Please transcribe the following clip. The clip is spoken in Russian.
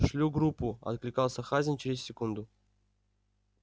шлю группу откликался хазин через секунду